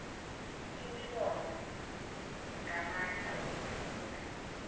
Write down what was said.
imibono ngamandla okufunda